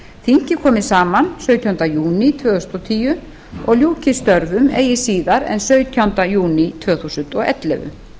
þingið komi saman sautjánda júní tvö þúsund og tíu og ljúki störfum eigi síðar en sautjánda júní tvö þúsund og ellefu